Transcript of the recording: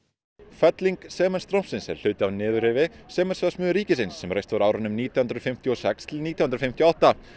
felling sementsstrompsins er hluti af niðurrifi sementsverksmiðju ríkisins sem reist var á árunum nítján hundruð fimmtíu og sex til nítján hundruð fimmtíu og átta